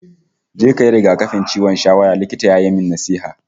"Je kayi rigakafin ciwon shawara", Likitan ya yi min nasiha